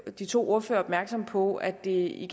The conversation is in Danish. de to ordførere opmærksom på at det i